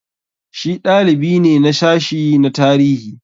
Shi dalibi ne na sashi na tarihi.